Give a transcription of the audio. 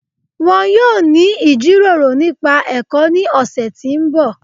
Wọn yọ̀ọ́ ni ijíròrò nípa ẹ̀kọ́ ni ọ̀ṣẹ̀ tí n bọ̀